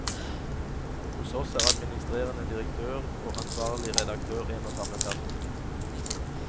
Hos hos er administrerende direktør og ansvarlig redaktør en og samme person.